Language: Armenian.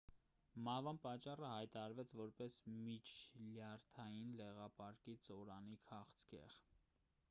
մահվան պատճառը հայտարարվեց որպես միջլյարդային լեղապարկի ծորանի քաղցկեղ